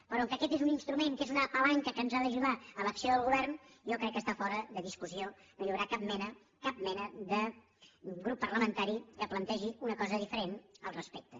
però com que aquest és un instrument que és una palanca que ha d’ajudar l’acció del govern jo crec que està fora de discussió no hi haurà cap mena cap mena de grup parlamentari que plantegi una cosa diferent al respecte